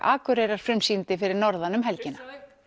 Akureyrar frumsýndi fyrir norðan um helgina